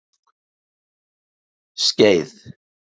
Skeið